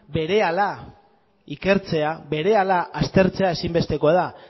berehala ikertzea berehala aztertzea ezinbestekoa da